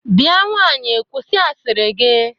Bia nwaanyị kwụsi asịrị gị!